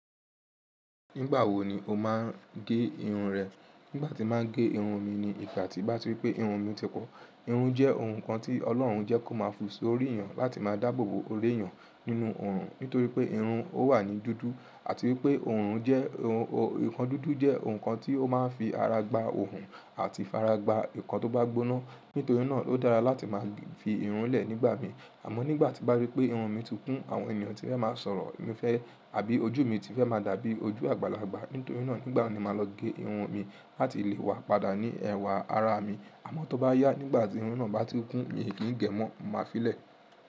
Nígbà wo ni o máa ń gé irun rẹ? Nígbà tí màá gé irun mi ni ìgbà tí bá rí pé irun mi ti kún. Irun jẹ́ ohun kan tí Ọlọ́run jẹ́ kó máa fi sórí èèyàn láti máa dáàbò bo ore èèyàn nínú òrùn. Nítorí pé irun ó wà ní dúdú àti wípé òrùn jẹ́ ohun, nǹkan dúdú jẹ́ ohun kan tí ó máa ń fi ara gba òrùn àti fi ara gba nǹkan tó bá gbóná. Nítorí náà ó dára láti máa fi irun lẹ̀ nígbà míì. Àmọ́ nígbà tí bá rí pé irun mi ti kún, àwọn ènìyàn tí fẹ́ máa sọ̀rọ̀ mi fẹ́ àbí ojú mi ti fẹ́ máa dàbí ojú àgbàlagbà. Nítorí náà nígbà mi ni màá lọ gé irun mi láti lè wá padà ní ẹwà ara mi. Àmọ́ tó bá yá nígbà tí irun náà bá ti kún, mi ò kí n gé mọ́, màá fi í lẹ̀.